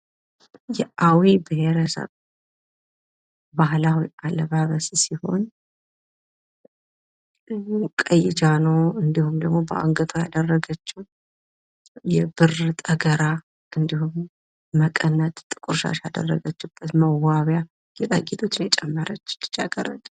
የአዊ ብሄረሰብ ባህላዊ አለባበስ ሲሆን፤ ቀይ ጃኖ እንዲሁም ደግሞ በአንገቱ ያደረገችው የብር ጠገራ እንዲሁም መቀነትና ጥቁር ሻሽ መዋቢያ ጥቁር ጌጥ ያደረገች ልጃገረድን የሚያሳይ ምስል ነው።